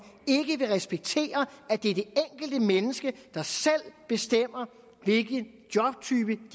ikke vil respektere at det er det enkelte menneske der selv bestemmer hvilken jobtype